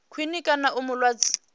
khwine kana u mu lwadza